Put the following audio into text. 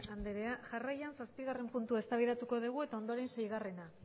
andrea jarraian zazpigarren puntua eztabaidatu dugu eta ondoren seigarrena